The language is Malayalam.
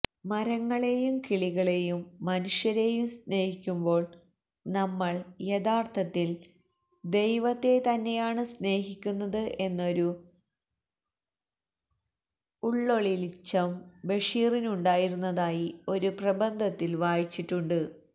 മരങ്ങളെയും കിളികളെയും മനുഷ്യരെയും സ്നേഹിക്കുമ്പോള് നമ്മള് യഥാര്ഥത്തില് ദൈവത്തെ തന്നെയാണ് സ്നേഹിക്കുന്നത് എന്നൊരു ഉള്വെളിച്ചം ബഷീറിനുണ്ടായിരുന്നതായി ഒരു പ്രബന്ധത്തില് വായിച്ചിട്ടുണ്ട്